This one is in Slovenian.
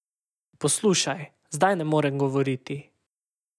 Poslušaj, zdaj ne morem govoriti.